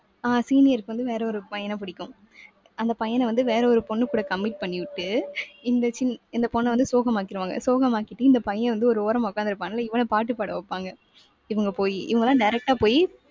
அஹ் senior க்கு வந்து வேற ஒரு பையனைப் பிடிக்கும். அந்தப் பையனை வந்து வேற ஒரு பொண்ணுகூட commit பண்ணி விட்டு இந்த சின்~ இந்தப் பொண்ணை வந்து சோகமாக்கிருவாங்க. சோகமாக்கிட்டு இந்தப் பையன் வந்து ஒரு ஓரமா உட்கார்ந்து இருப்பான்ல இவனைப் பாட்டுப் பாட வைப்பாங்க. இவங்க போய், இவங்க எல்லாம் direct ஆ போயி